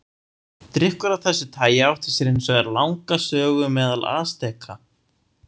Drykkur af þessu tagi átti sér hins vegar langa sögu meðal Asteka.